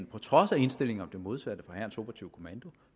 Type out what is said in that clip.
på trods af indstilling om det modsatte fra hærens operative kommando